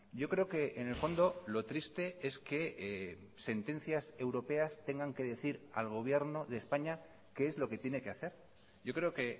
yo creo que en el fondo lo triste es que sentencias europeas tengan que decir al gobierno de españa qué es lo que tiene que hacer yo creo que